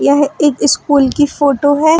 यह एक स्कूल की फोटो है।